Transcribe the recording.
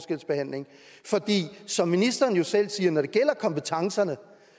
som ministeren selv siger når det gælder kompetencerne